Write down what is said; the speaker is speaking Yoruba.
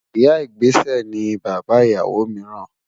Ìyà-ìgbésẹ̀ ni bàbá ìyáwó míìràn